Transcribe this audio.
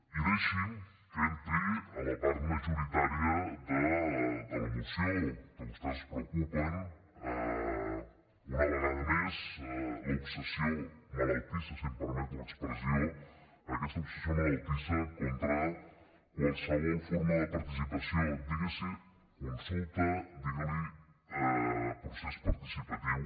i deixi’m que entri a la part majoritària de la moció que vostès es preocupen una vegada més l’obsessió malaltissa si em permet l’expressió aquesta obsessió malaltissa contra qualsevol forma de participació diguili consulta diguili procés participatiu